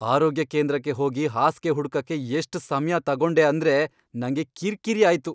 ಆರೋಗ್ಯ ಕೇಂದ್ರಕ್ಕೆ ಹೋಗಿ ಹಾಸ್ಗೆ ಹುಡ್ಕಕೆ ಎಷ್ಟ್ ಸಮ್ಯ ತಗೊಂಡೆ ಅಂದ್ರೆ ನಂಗೆ ಕಿರ್ಕಿರಿ ಆಯ್ತು.